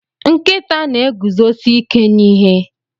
Nkịta na-eguzosi ike n'ihe